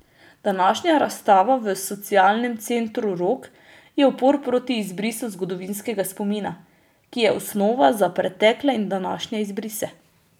Današnja razstava v Socialnem centru Rog je upor proti izbrisu zgodovinskega spomina, ki je osnova za pretekle in današnje izbrise.